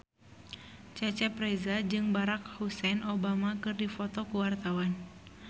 Cecep Reza jeung Barack Hussein Obama keur dipoto ku wartawan